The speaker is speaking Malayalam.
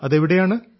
അത് എവിടെയാണ്